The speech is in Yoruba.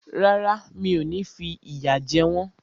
Rárá, mi ò ní fi ìyà jẹ wọ́n